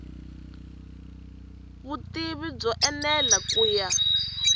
vutivi byo enela ku ya